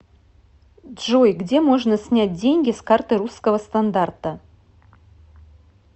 джой где можно снять деньги с карты русского стандарта